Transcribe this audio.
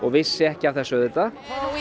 vissi ekki af þessu auðvitað